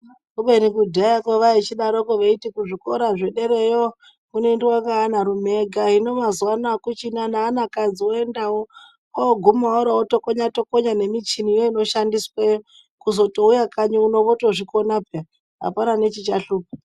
Kubeni kudhayakwo vaichidarokwo kuti kuzvikora zvedera yo kunoendwa ngaana rume ega hino mazuwa anaa akuchina neana kadzi oendawo oguma otokonya tokonya nemichiniyo inoshandisweyo kuzotouya kanyi uno otozvikonapa apana mechichahlupa.